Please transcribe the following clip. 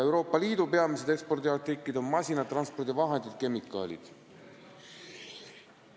Euroopa Liidu peamised ekspordiartiklid on masinad, transpordivahendid ja kemikaalid.